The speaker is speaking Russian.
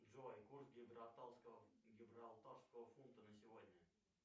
джой курс гибралтарского фунта на сегодня